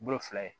Bolo fila ye